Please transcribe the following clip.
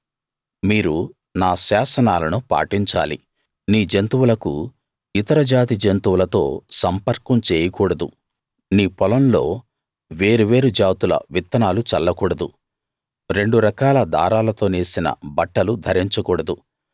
మీరు నా శాసనాలను పాటించాలి నీ జంతువులకు ఇతర జాతి జంతువులతో సంపర్కం చేయకూడదు నీ పొలంలో వేరు వేరు జాతుల విత్తనాలు చల్లకూడదు రెండు రకాల దారాలతో నేసిన బట్టలు ధరించకూడదు